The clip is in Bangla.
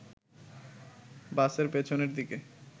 বাসের পেছনের দিকে